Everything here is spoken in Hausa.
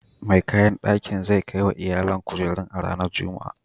Mai kayan daki zai kai wa iyalin kujeru a ranar Juma'a.